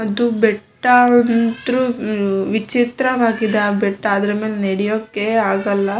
ಅದು ಬೆಟ್ಟ ಅಂತರು ವಿಚಿತ್ರ ಆಗಿದೆ ಬೆಟ್ಟ ಅದ್ರ ಮೇಲೆ ನಡಿಯೋಕೆ ಆಗಲ್ಲ --